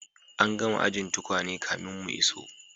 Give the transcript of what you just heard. An gama ajin tukwane kafin mu iso.